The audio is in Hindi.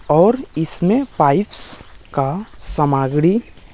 और इसमे पाइप्स का सामग्री--